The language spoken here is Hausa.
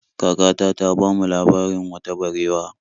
Kakata ta bamu labarin wata barewa.